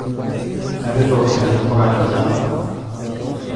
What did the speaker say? Kaloito aitayu mpuka tolchamba.